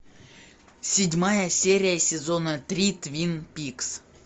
седьмая серия сезона три твин пикс